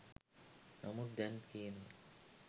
නමුත් දැන් කියනවා